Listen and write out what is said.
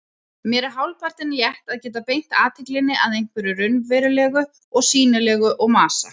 Mér er hálfpartinn létt að geta beint athyglinni að einhverju raunverulegu og sýnilegu og masa